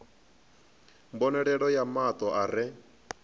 mbonalelo ya mato a re